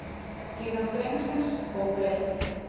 Líðan drengsins óbreytt